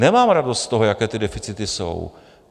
Nemám radost z toho, jaké ty deficity jsou.